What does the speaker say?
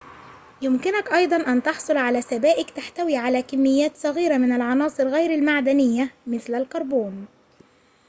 يمكنك أيضاً أن تحصل على سبائك تحتوي على كميات صغيرة من العناصر غير المعدنية مثل الكربون